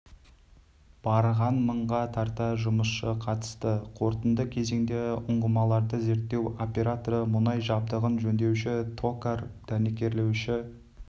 барған мыңға тарта жұмысшы қатысты қорытынды кезеңде ұңғымаларды зерттеу операторы мұнай жабдығын жөндеуші токарь дәнекерлеуші